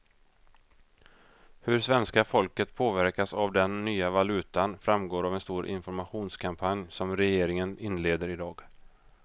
Hur svenska folket påverkas av den nya valutan framgår av en stor informationskampanj som regeringen inleder i dag.